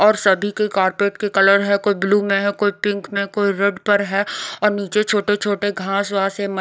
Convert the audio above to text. और सभी के कार्पेट के कलर है कोई ब्लू में है कोई पिंक में कोई रेड पर है और नीचे छोटे-छोटे घास वास है म--